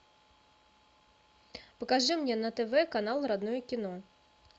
покажи мне на тв канал родное кино